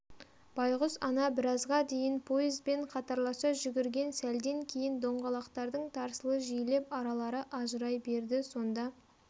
байқұс ана біразға дейін поезбен қатарласа жүгірген сәлден кейін доңғалақтардың тарсылы жиілеп аралары ажырай берді сонда